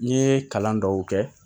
N ye kalan dɔw kɛ